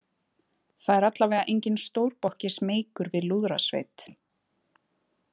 Það er alla vega enginn stórbokki smeykur við lúðrasveit.